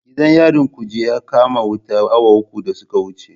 Gidan yarin Kuje ya kama wuta awa uku da suka wuce.